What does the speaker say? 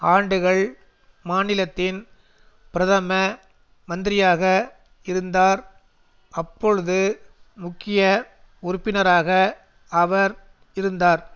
ஆண்டுகள் மாநிலத்தின் பிரதம மந்திரியாக இருந்தார் அப்பொழுது முக்கிய உறுப்பினராக அவர் இருந்தார்